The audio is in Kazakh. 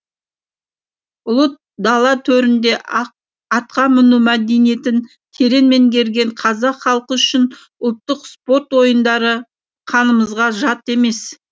ұлы дала төрінде атқа міну мәдениетін терең меңгерген қазақ халқы үшін ұлттық спорт ойындары қанымызға жат емес